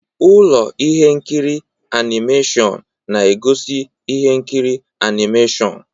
Ụlọ ihe nkiri animeshịon na-egosi ihe nkiri animeshịon.